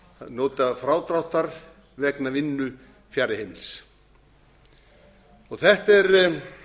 njóta frádráttar vegna vinnu fjarri heimilis þetta er